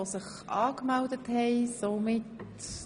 – Das ist nicht der Fall.